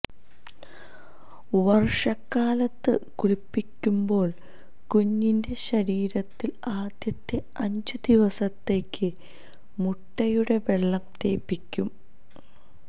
വര്ഷകാലത്ത് കുളിപ്പിക്കുമ്പോള് കുഞ്ഞിന്റെ ശരീരത്തില് ആദ്യത്തെ അഞ്ചു ദിവസത്തേയ്ക്ക് മുട്ടയുടെ വെള്ള തേപ്പിക്കും